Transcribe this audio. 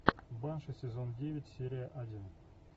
банши сезон девять серия один